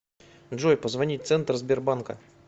джой позвонить центр сбербанка